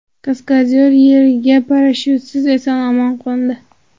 Kaskadyor yerga parashyutsiz eson-omon qo‘ndi .